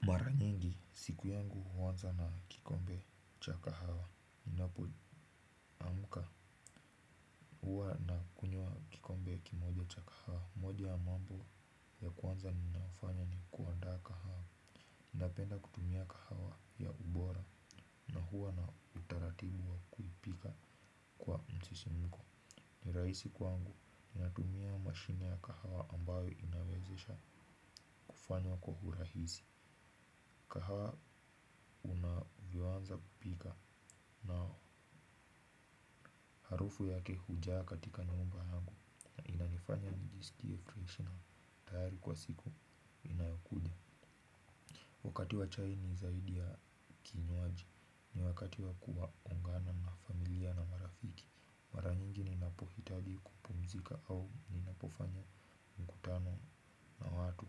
Mara nyingi siku yangu huanza na kikombe cha kahawa. Ninapoamka huwa nakunywa kikombe kimoja cha kahawa. Moja ya mambo ya kwanza ninafanya ni kuandaa kahawa. Ninapenda kutumia kahawa ya ubora na huwa na utaratibu wa kuipika kwa msisimko. Ni rahisi kwangu. Ninatumia mashine ya kahawa ambayo inawezesha kufanywa kwa urahisi. Kahawa unavyoanza kupika na harufu yake hujaa katika nyumba yangu inanifanya nijisikie fresh na tayari kwa siku inayo kuja. Wakati wa chai ni zaidi ya kinywaji. Ni wakati wa kuungana na familia na marafiki. Mara nyingi ninapohitaji kupumzika au ninapofanya mkutano na watu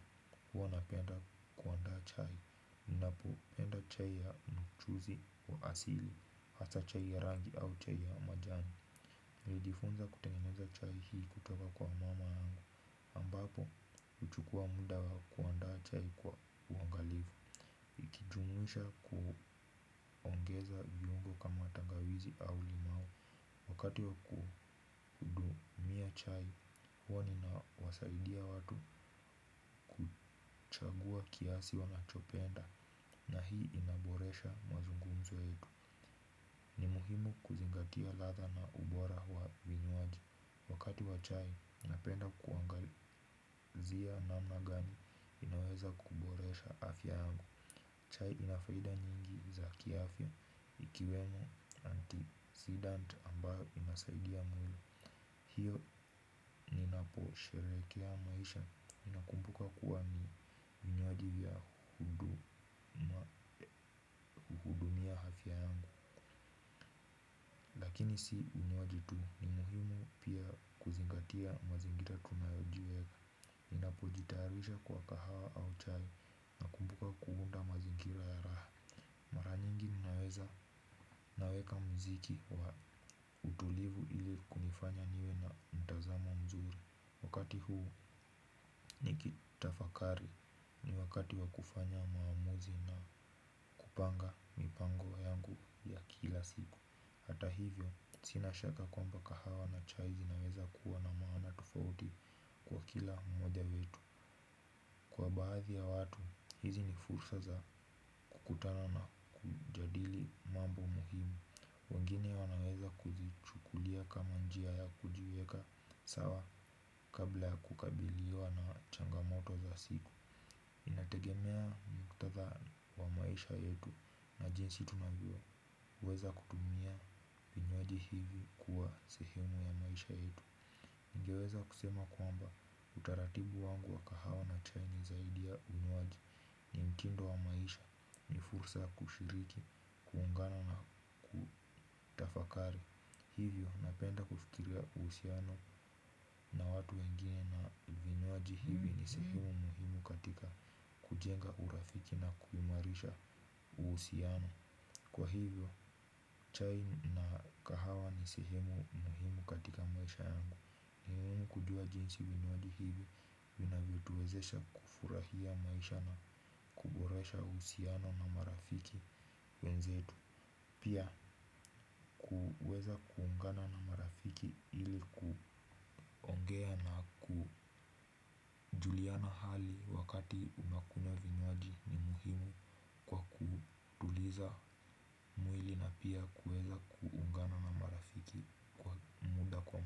huwa napenda kuandaa chai. Ninapoenda chai ya mchuuzi wa asili hasa chai ya rangi au chai ya majani, nilijifunza kutengeneza chai hii kutoka kwa mama yangu. Ambapo huchukua muda wa kuandaa chai kwa uangalifu. Nikijumuisha kuongeza viungo kama tangawizi au limau, wakati wa kuhudumia chai huwa ninawasaidia watu chagua kiasi wanachopenda na hii inaboresha mazungumzo yetu. Ni muhimu kuzingatia ladha na ubora wa vinywaji. Wakati wa chai napenda kuangazia namna gani ninaweza kuboresha afya yangu. Chai ina faida nyingi za kiafya ikiwemo anticidant ambayo inasaidia mwili. Hiyo ninaposherehekea maisha, ninakumbuka kuwa ni vinywaji vya kuhudumia afya yangu. Hii si unywaji tu. Ni muhimu pia kuzingatia mazingira tunayojua. Ninapojitayarisha kwa kahawa au chai kumbuka kuunda mazingira ya raha. Mara nyingi ninaweza naweka muziki wa utulivu ili kunifanya niwe na mtazamo mzuri. Wakati huu nikitafakari, ni wakati wa kufanya maamuzi na kupanga mipango yangu ya kila siku. Hata hivyo sina shaka kwamba kahawa na chai zinaweza kuwa na maana tofauti kwa kila mmoja wetu. Kwa baadhi ya watu hizi ni fursa za kukutana na kujadili mambo muhimu. Wengine wanaweza kuzichukulia kama njia ya kujiweka sawa kabla ya kukabiliwa na changamoto za siku. Inategemea muktadha wa maisha yetu na jinsi tunavyoweza kutumia vinywaji hivi kuwa sehemu ya maisha yetu. Ningeweza kusema kwamba utaratibu wangu wa kahawa na chai ni zaidi ya unywaji. Ni mtindo wa maisha, ni fursa kushiriki, kuungana na kutafakari. Hivyo napenda kufikiria uhusiano na watu wengine na vinywaji hivi ni sehimu muhimu katika kujenga urafiki na kuimarisha uhusiano. Kwa hivyo chai na kahawa ni sehemu muhimu katika maisha yangu. Ni muhimu kujua jinsi vinywaji hivi vinavyotuwezesha kufurahia maisha na kuboresha uhusiano na marafiki wenzetu. Pia kuweza kuungana na marafiki ili ku juliana hali wakati unakunywa vinywaji ni muhimu kwa kutuliza mwili na pia kuweza kuungana na marafiki kwa muda kwa.